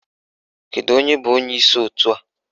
Kedu onye bụ onyeisi òtù a?